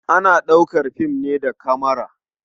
Ana ɗaukar fim ne da kamara.